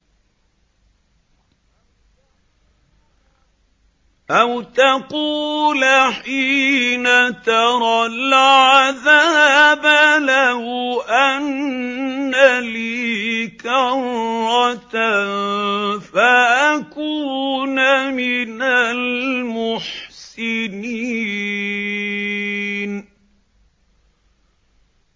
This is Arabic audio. أَوْ تَقُولَ حِينَ تَرَى الْعَذَابَ لَوْ أَنَّ لِي كَرَّةً فَأَكُونَ مِنَ الْمُحْسِنِينَ